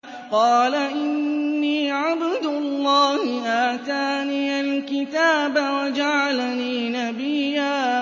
قَالَ إِنِّي عَبْدُ اللَّهِ آتَانِيَ الْكِتَابَ وَجَعَلَنِي نَبِيًّا